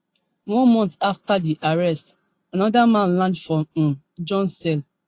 one month afta di arrest anoda man land for um john cell